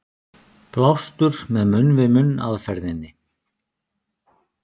Blástur með munn-við-munn aðferðinni.